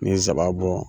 N'i ye nsaba bɔ